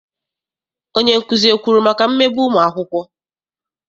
Onyenkuzi ekwuru maka mmegbu ụmụakwụkwọ?